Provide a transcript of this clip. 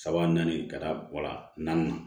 Saba naani ka taa wa naani na